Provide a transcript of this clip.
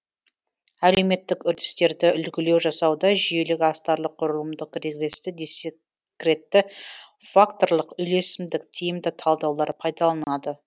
әлеуметтік үрдістерді үлгілеу жасауда жүйелік астарлық құрылымдық регресті дискретті факторлық үйлесімдік тиімді талдаулар пайдаланылады